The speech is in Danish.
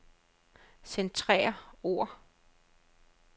Centrer ord.